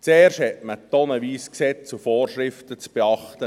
Zuerst muss man tonnenweise Gesetze und Vorschriften beachten.